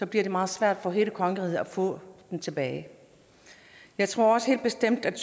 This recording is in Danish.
bliver det meget svært for hele kongeriget at få den tilbage jeg tror også helt bestemt at